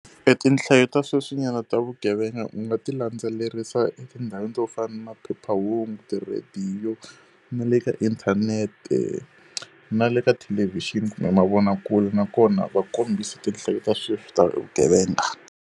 E tinhlayo ta sweswinyana ta vugevenga u nga ti landzelerisa etindhawini to fana na phephahungu, tirhediyo, na le ka inthanete, na le ka thelevixini kumbe mavonakule. Nakona va kombisa tinhlayo ta sweswi ta vugevenga.